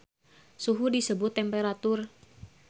Suhu disebut temperatur